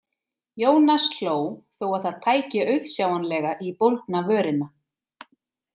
Ionas hló þó að það tæki auðsjáanlega í bólgna vörina.